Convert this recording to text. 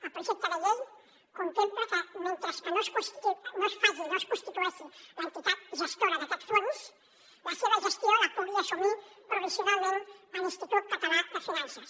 el projecte de llei contempla que mentre no es constitueixi l’entitat gestora d’aquest fons la seva gestió la pugui assumir provisionalment l’institut català de finances